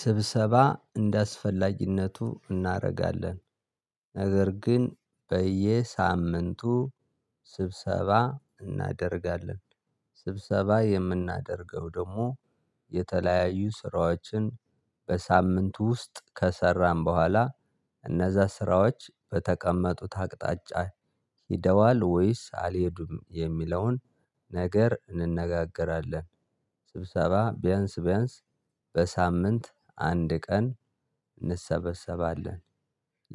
ስብሰባ እንደአስፈላጊነቱ እናደርጋለን ነገር ግን በየሳምንቱ ስብሰባ እናደርጋለን ስብሰባ የምናደርገው ደግሞ የተለያዩ ስራዎችን በሳምንቱ ውስጥ ከሰራን በኋላ እነዛ ስራዎች በተቀመጡት አቅጣጫ ሄደዋል ወይስ አልሄዱም የሚለውን ነገር እንነጋገራለን። ስብሰባ ቢያንስ ቢያንስ በሳምንት አንድ ቀን እንሰበሰባለን።